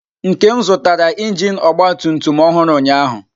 Nkem zụtara injin ọgba tum tum ọhụrụ ụnyahụ.